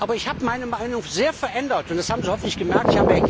Aber ich habe meine Meinung sehr verändert, und das haben Sie hoffentlich gemerkt.